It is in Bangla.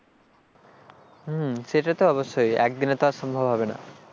হম সেটা তো অবশ্যই একদিনে তো আর সম্ভব হবে না,